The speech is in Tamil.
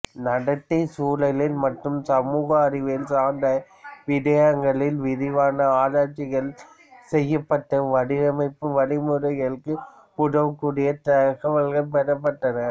நடத்தை சூழல் மற்றும் சமூக அறிவியல் சார்ந்த விடயங்களில் விரிவான ஆராய்ச்சிகள் செய்யப்பட்டு வடிவமைப்பு வழிமுறைகளுக்கு உதவக்கூடிய தகவல்கள் பெறப்பட்டன